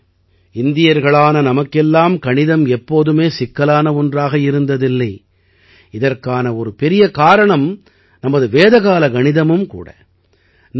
நண்பர்களே இந்தியர்களான நமக்கெல்லாம் கணிதம் எப்போதுமே சிக்கலான ஒன்றாக இருந்ததில்லை இதற்கான ஒரு பெரிய காரணம் நமது வேதக்காலக் கணிதமும் கூட